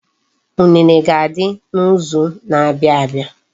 Unene ga-adị n'izu na-abia abia.